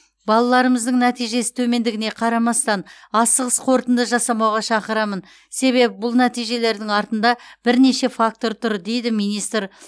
балаларымыздың нәтижесі төмендігіне қарамастан асығыс қорытынды жасамауға шақырамын себебі бұл нәтижелердің артында бірнеше фактор тұр дейді министр